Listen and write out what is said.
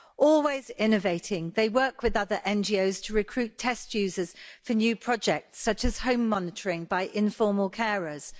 Always innovating, they work with other NGOs to recruit test users for new projects such as home monitoring by informal carers.